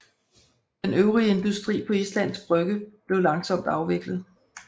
Den øvrige industri på Islands Brygge blev langsomt afviklet